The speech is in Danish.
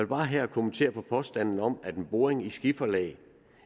bare her kommentere påstanden om at en boring i skiferlag